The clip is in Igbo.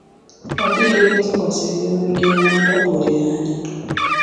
Ọ dịghị onye tụkwasịrị ya obi ga-enwe ndakpọ olileanya”